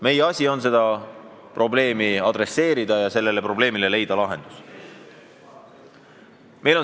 Meie asi on seda probleemi arutada ja leida sellele lahendus.